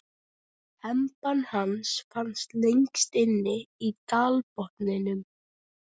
Hempan hans fannst lengst inni í dalbotninum.